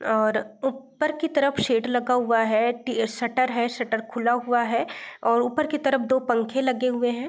और ऊपर की तरफ शेड लगा हुआ है टी शटर है शटर खुला हुआ है और ऊपर की तरफ दो पंखे लगे हुए हैं।